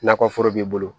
Nakɔforo b'i bolo